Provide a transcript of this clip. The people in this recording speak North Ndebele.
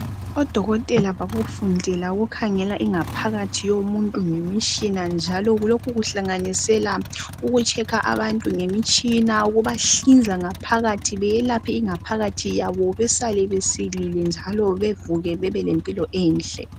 Odokotela bakufundela ukukhangela ingaphakathi yomuntu ngemitshina njalo lokhu kuhlanganisela ukutshekha abantu ngemitshina ukubahlinza ngaphakathi beyelaphe ingaphakathi yabo besale besilile njalo bevuke bebe lempilo enhle.